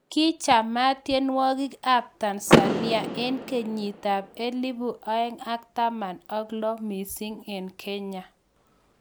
Ki chamaat tyenwogik ab Tanzania eng' kenyit ab elibu aeng' ak taman ak lo missing eng Kenya